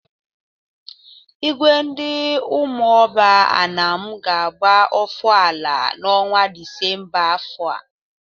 Igwe ndị Umuoba Anam ga-agba ọfala n'ọnwa Disemba afọ a.